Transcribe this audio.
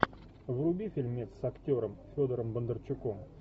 вруби фильмец с актером федором бондарчуком